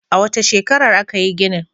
A wace shekarar aka yi ginin?